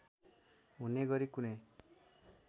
हुने गरी कुनै